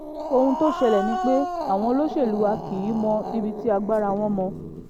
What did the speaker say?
ohun tó ṣẹlẹ̀ ni pé àwọn olóṣèlú wa kì í mọ ibi tí agbára wọn mọ